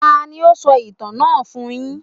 Tání o sọ ìtàn náà fún yín?